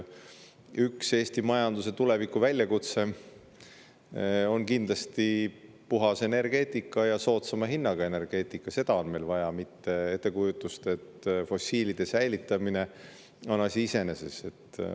Üks Eesti majanduse tulevikuväljakutse on kindlasti puhas energeetika ja soodsama hinnaga energia, seda on meil vaja, mitte ettekujutust, et fossiil säilitamine on asi iseeneses.